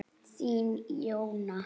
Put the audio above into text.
Þín, Jóna.